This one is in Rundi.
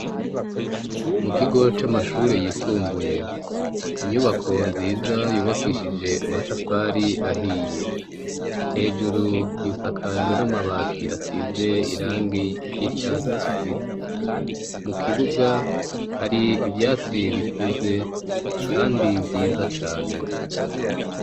Mu kigo c'amashure yisumbuye inyubako nziza yubakishije amatafari ahiye. Hejuru isakajwe n'amabati asize irangi ry'icatsi kibisi. Mu kibuga hari ivyatsi bikuze kandi vyiza cane.